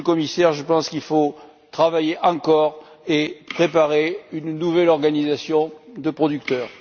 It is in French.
Monsieur le Commissaire, je pense qu'il faut travailler davantage et préparer une nouvelle organisation de producteurs.